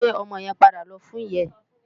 Gbé òmò yèn pàdá lò fún iyá è